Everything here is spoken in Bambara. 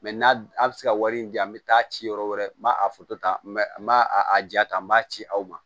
n'a bɛ se ka wari in di an bɛ taa ci yɔrɔ wɛrɛ ma a foto ta ma n ma a a ja ta n b'a ci aw ma